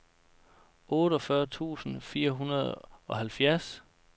otteogfyrre tusind og fireoghalvfjerds